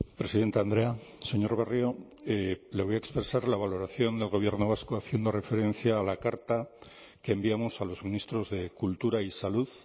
presidente andrea señor barrio le voy a expresar la valoración del gobierno vasco haciendo referencia a la carta que enviamos a los ministros de cultura y salud